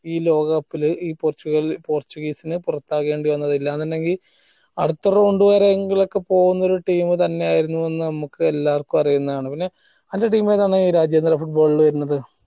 ഈ ലോകകപ്പില് പോർച്ചുഗൽ പോർച്ചുഗീസിന്‌ പൊറത്താകേണ്ടി വന്നത് ഇല്ലാന്നുണ്ടെങ്കിൽ അടുത്ത round വരെ എങ്കിലൊക്കെ പോവുന്ന ഒരു team തന്നെ ആയിരുന്നു എന്ന നമ്മക്ക് അറിയിന്ന ആണ്